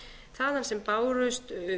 þaðan sem bárust